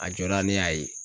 A jɔda ne y'a ye.